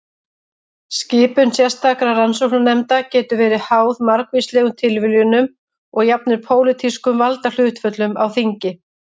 Skipun sérstakra rannsóknarnefnda getur verið háð margvíslegum tilviljunum og jafnvel pólitískum valdahlutföllum á þingi.